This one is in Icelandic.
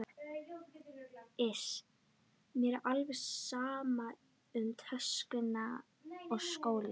Iss, mér er alveg sama um töskuna og skólann